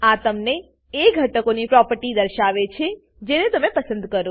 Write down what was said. આ તમને એ ઘટકોની પ્રોપર્ટી દર્શાવે છે જેને તમે પસંદ કરો છો